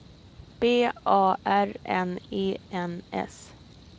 B A R N E N S